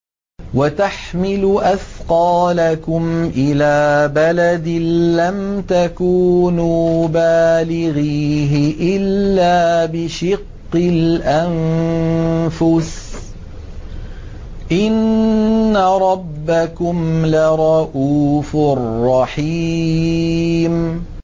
وَتَحْمِلُ أَثْقَالَكُمْ إِلَىٰ بَلَدٍ لَّمْ تَكُونُوا بَالِغِيهِ إِلَّا بِشِقِّ الْأَنفُسِ ۚ إِنَّ رَبَّكُمْ لَرَءُوفٌ رَّحِيمٌ